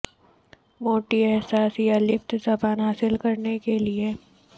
موٹی احساس یا لیپت زبان حاصل کرنے کے لئے